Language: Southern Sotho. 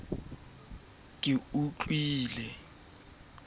ke ke wa ntshitisa ka